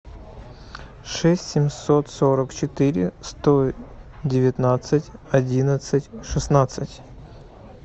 шесть семьсот сорок четыре сто девятнадцать одиннадцать шестнадцать